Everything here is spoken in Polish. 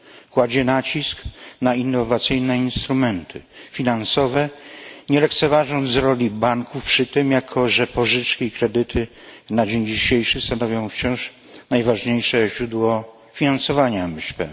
Kładzie nacisk na innowacyjne instrumenty finansowe nie lekceważąc roli banków przy tym, jako że pożyczki i kredyty na dzień dzisiejszy stanowią wciąż najważniejsze źródło finansowania MŚP.